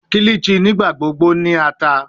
Kilichi nigbagbogbo jẹ ata